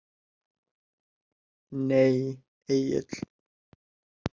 Nei Egill.